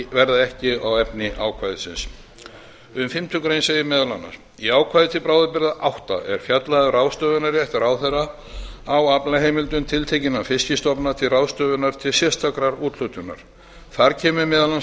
verða ekki á efni ákvæðisins í fimmtu grein segir meðal annars í ákvæði til bráðabirgða átta er fjallað um ráðstöfunarrétt ráðherra á aflaheimildum tiltekinna fiskistofu til ráðstöfunar til sérstakrar úthlutunar þar kemur meðal annars